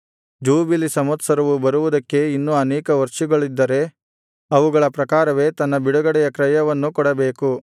jubilee ಸಂವತ್ಸರವು ಬರುವುದಕ್ಕೆ ಇನ್ನು ಅನೇಕ ವರ್ಷಗಳಿದ್ದರೆ ಅವುಗಳ ಪ್ರಕಾರವೇ ತನ್ನ ಬಿಡುಗಡೆಯ ಕ್ರಯವನ್ನೂ ಕೊಡಬೇಕು